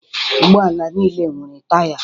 Ụgbọala niile nwere taya.